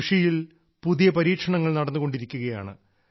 കൃഷിയിൽ പുതിയ പരീക്ഷണങ്ങൾ നടന്നുകൊണ്ടിരിക്കുകയാണ്